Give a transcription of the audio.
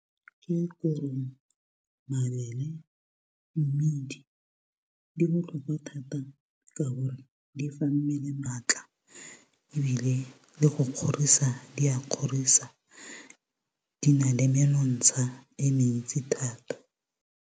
Ke korong, mabele, mmidi di botlhokwa thata, ka gore di fa mmele maatla ebile le go kgorisa di a kgorisa. Di na le menontsha e mentsi thata.